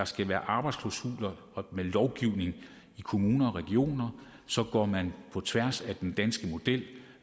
skal være arbejdsklausuler i kommuner og regioner går man på tværs af den danske model det